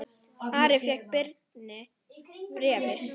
Ari fékk Birni bréfin.